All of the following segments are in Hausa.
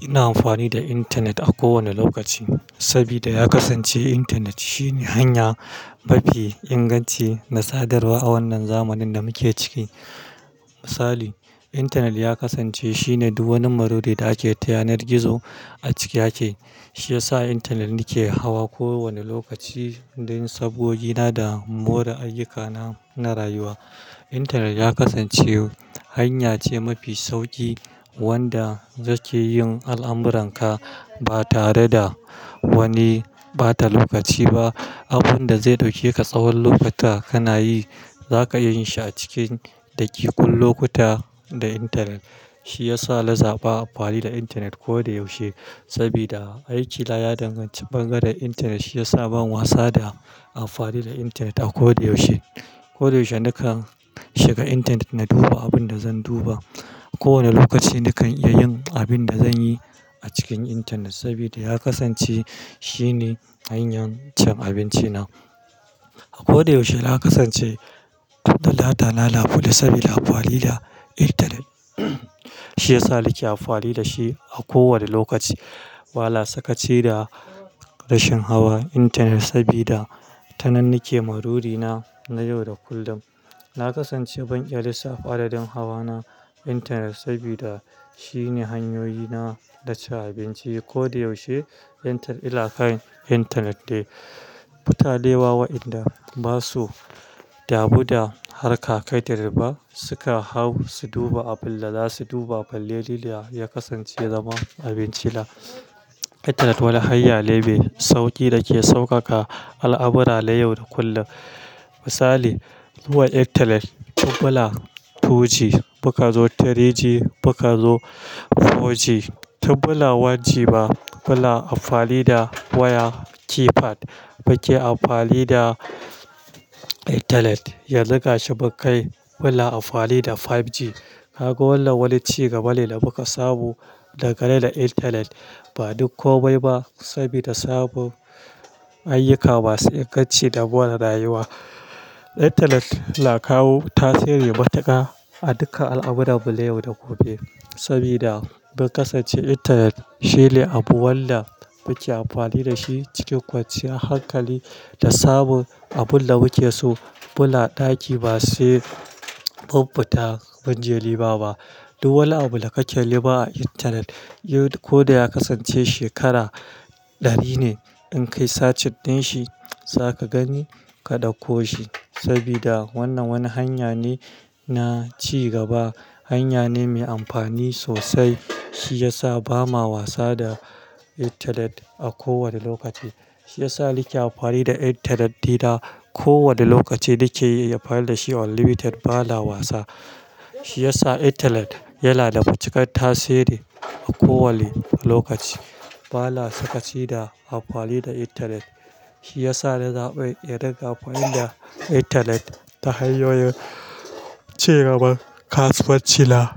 Ina amfani da intanet a kowane lokaci saboda ya kasance intanet shine hanya mafi inganci na sadarwa a wannan zamanin da muke ciki. Misali, intanet ya kasance shine duk wani maruri da ake ta yanar gizo a cike yake. Shi yasa intanet nake hawa kowane lokaci don sabogina da more ayyukana na rayuwa. Intanet ya kasance hanya ce mafi sauki wanda zake yin al'amuranka ba tare da wani bata lokaci ba. Abin da zai ɗauke ka tsawon lokuta kana yi, zaka iya yin shi a cikin ɗakikun lokuta da intanet. Shi ya sa na zaɓa amfani da intanet koda yaushe saboda aikina ya danganci bangaren intanet. Shi ya sa ban wasa da amfani da intanet a kodayaushe. Kodayaushe nakan shiga intanet na duba abin da zan duba. A kowane lokaci nakan iya yin abin da zan yi a cikin intanet saboda ya kasance shine hanyar cin abinci na. A kodayaushe na kasance ɗan data na buɗe saboda amfani da intanet. Shi yasa nake amfani da shi a kowane lokaci. Ba na sakaci da rashin hawa intanet saboda tanannike marurina na yau da kullum. Na kasance ban iya lissafa adadin hawa na intanet saboda shine hanyoyina na cin abinci. Kodayaushe intanet, inakan intanet da mutane wa wa inda ba su, damu da harka kaɗirba suka hau su duba abin da za su duba. Balle ni da ya kasance zaman abinci na. Intanet wani hanya ne mai sauƙi da ke sauƙaƙa al'amura na yau da kullum. Misali, zuwa intanet tun muna 2G, muka zo 3G, muka zo 4G. Tun muna 1G ma, muna amfani da waya keypad. Mu ke amfani da intanet. Yanzu ga shi mun kai munkai muna amfani da 5G. Ka ga wannan wani ci gaba ne da muka samu daga kai da intanet. Ba duk komai ba saboda samun ayyuka masu inganci da more rayuwa. Intanet na kawo tasiri matuƙa a duka al'amuran mu na yau da gobe. Saboda mun kasance intanet shine abu wanda muke amfani da shi cikin kwanciyar hankali da sabon abun da muke so. Muna ɗaki ba sai mun fita mun je nema ba ba. Duk wani abu da kake nema a intanet, ko da ya kasance shekara ɗari ne, in kai sacit din shi za ka gani ka ɗauko shi. Saboda wannan wani hanya ne na ci gaba, hanya ne mai amfani sosai. Shi ya sa ba ma wasa da intanet a kowane lokaci. Shi ya sa nake amfani da intanet ɗina kowane lokaci nake iya amfani da shi unlimited ba na wasa. Shi ya sa intanet yana da matuƙar tasiri a kowanne lokaci. Ba na sakaci da amfani da intanet. Shi ya sa na zaɓi irin ga amfani da intanet ta hanyoyin ci gaban kasuwanci na.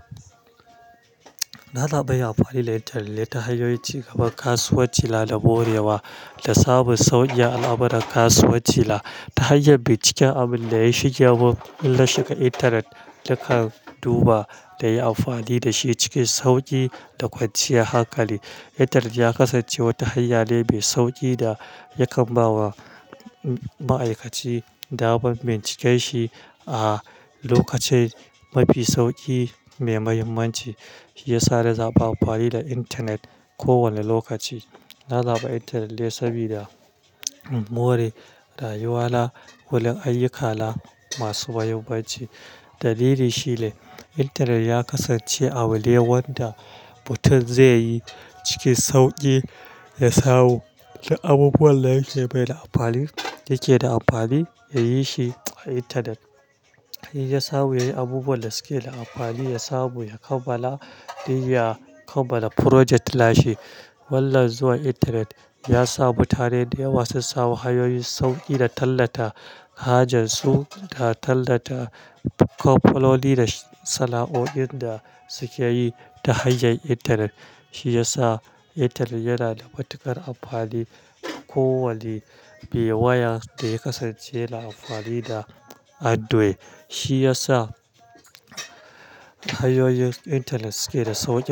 Na zaɓi amfani da intanet ne ta hanyoyin ci gaban kasuwanci na da more wa da sabon sauyin al'amuran kasuwanci na. Ta hanyar binciken abin da ya shige mun idan na shiga intanet nakan duba da yi amfani da shi cikin sauƙi da kwanciyar hankali. Intanet ya kasance wata hanya ne mai sauƙi da yakan ba wa ma'aikaci damar bincika shi a lokatai mafi sauƙi mai muhimmanci. Shi ya sa na zaɓa amfani da intanet ko wanne lokaci. Na zaɓi intanet ne saboda more rayuwa na wurin ayyukana masu muhimmanci. Dalili shine intanet ya kasance abune wanda mutum zai yi cikin sauƙi da sawu abubuwan da yake mai da amfani yake da amfani ya yi shi a intanet. Ya samu yayi abubuwan da suke da amfani ya samu ya kammala, dai ya kammala project lashe. Wannan zuwa intanet ya sa mutane da yawa sun samu hanyoyin sauƙi na tallata hajar su da tallata kwafololi da sana'o'in da suke yi ta hanyar intanet. Shi ya sa intanet yana da matuƙar amfani a kowanne me waya da ya kasance na amfani da android. Shi ya sa hanyoyin intanet suke da sauƙi.